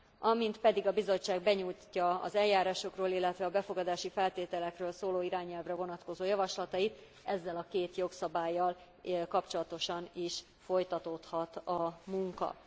Amint pedig a Bizottság benyújtja az eljárásokról, illetve a befogadási feltételekről szóló irányelvre vonatkozó javaslatait, ezzel a két jogszabállyal kapcsolatosan is folytatódhat a munka.